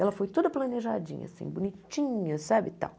Ela foi toda planejadinha assim, bonitinha, sabe? E tal